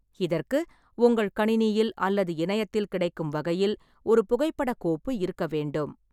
இதற்கு, உங்கள் கணினியில் அல்லது இணையத்தில் கிடைக்கும் வகையில் ஒரு புகைப்படக் கோப்பு இருக்கவேண்டும்.